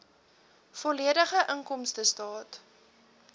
volledige inkomstestaat